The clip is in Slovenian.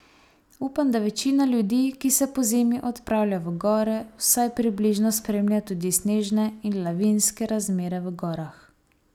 Upam, da večina ljudi, ki se pozimi odpravlja v gore, vsaj približno spremlja tudi snežne in lavinske razmere v gorah.